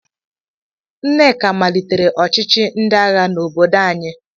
Nneka malitere ọchịchị ndị agha n'obodo anyị.